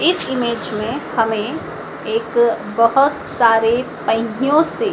इस इमेज मे हमें एक बहोत सारे पहियों से--